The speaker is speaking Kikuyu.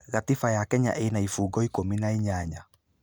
Gatiba ya Kenya ĩna ibungo ikũmi na inyanya.